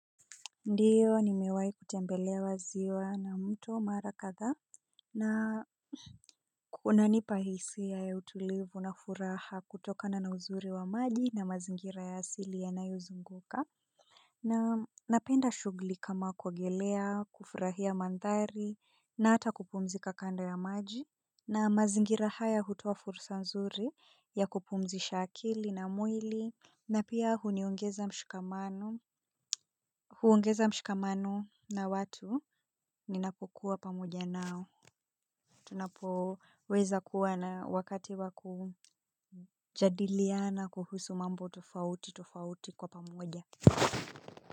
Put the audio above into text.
Ndiyo nimewahi kutembelewa ziwa na mto mara kadhaa na kunanipa hisia na utulivu na furaha kutokana na uzuri wa maji na mazingira ya asili yanayo zunguka. Na napenda shughuli kama kuogelea kufurahia mandhari na ata kupumzika kando ya maji. Na mazingira haya hutoa fursa nzuri ya kupumzisha akili na mwili. Na pia huniongeza mshikamano huongeza mshikamano na watu ninapokuwa pamoja nao. Tunapo weza kuwa na wakati waku jadiliana kuhusu mambo tofauti tofauti kwa pamoja.